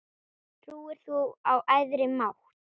Trúir þú á æðri mátt?